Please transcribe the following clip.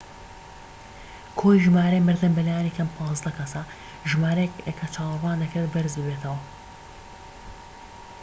کۆی ژمارەی مردن بە لایەنی کەم 15 کەسە ژمارەیەک کە چاوەڕوان دەکرێت بەرز بێتەوە